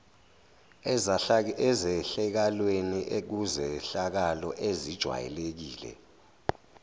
ezehlakalweni kuzehlakalo ezijwayelekile